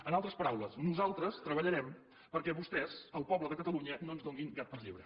en altres paraules nosaltres treballarem perquè vostès al poble de catalunya no ens donin gat per llebre